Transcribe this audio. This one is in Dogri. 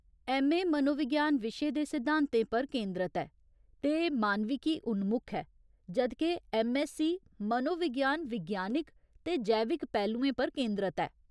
ऐम्म.ए. मनोविज्ञान विशे दे सिद्धांतें पर केंदरत ऐ ते मानविकी उन्मुख ऐ, जद् के ऐम्म.ऐस्ससी मनोविज्ञान विज्ञानिक ते जैविक पहलुओं पर केंदरत ऐ।